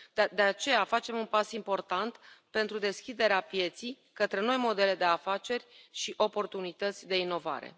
De aceea, facem un pas important pentru deschiderea pieței către noi modele de afaceri și oportunități de inovare.